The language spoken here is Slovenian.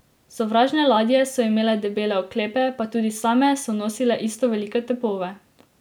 Sovražne ladje so imele debele oklepe, pa tudi same so nosile isto velike topove.